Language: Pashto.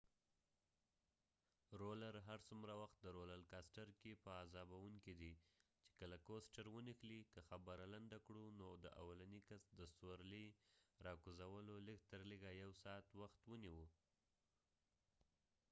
هر څومره وخت د رولر کاستر roller coasterکې په عذابوونکې دي چې کله ونښلی ، که خبره لنډه کړو نو د اولنی کس د سورلی را کوزولو لږ تر لږه یو ساعت وخت ونیوه